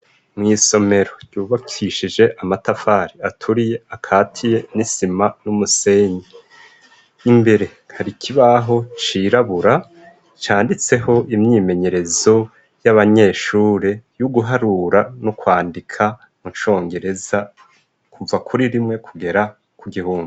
Mwisomero ryubakishije amatafari aturiye akatiye n'isima n'umusenyi imbere nkarikibaho cirabura canditseho imyimenyerezo y'abanyeshuri y'uguharura no kwandika mu congereza kuva kuri rimwe kugera ku gihundu.